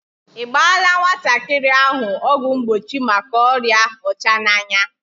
I gbaala nwatakịrị ahụ ọgwụ mgbochi maka ọrịa ọchananya?